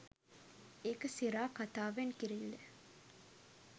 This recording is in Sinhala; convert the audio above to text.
ඒක සිරා කතා වෙන්කිරිල්ල